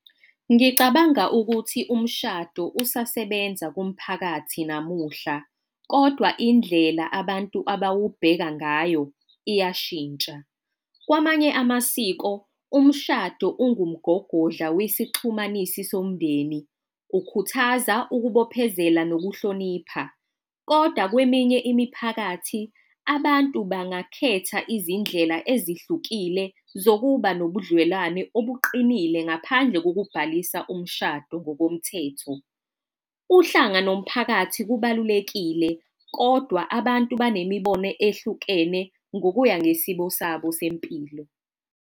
Ngicabanga ukuthi umshado usasebenza kumphakathi namuhla, kodwa indlela abantu abawubheka ngayo iyashintsha. Kwamanye amasiko umshado ungumgogodla uyisixhumanisi somndeni. Kukhuthaza ukubophezela nokuhlonipha. Kodwa kweminye imiphakathi abantu bangakhetha izindlela ezihlukile zokuba nobudlelwane obuqinile ngaphandle kokubhalisa umshado ngokomthetho. Uhlanga nomphakathi kubalulekile kodwa abantu banemibono ehlukene ngokuya ngesimo sabo sempilo.